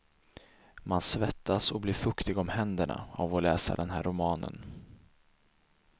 Man svettas och blir fuktig om händerna av att läsa den här romanen.